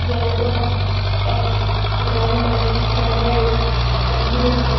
Garden आहे मोठा ground आहे गाड्या आहेत अम्बुलंस आहे.